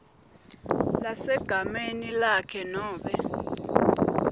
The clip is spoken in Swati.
lesegameni lakhe nobe